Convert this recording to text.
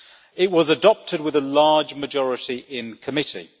It was adopted with a large majority in committee.